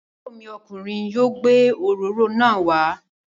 Àbúrò mi ọkùnrin yóò gbé òróró náà wá.